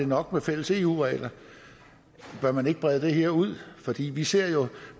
nok med fælles eu regler bør man ikke brede det her ud vi ser jo